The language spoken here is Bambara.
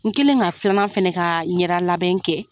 N kɛlen ka filanan fɛnɛ ka ɲɛda labɛn kɛ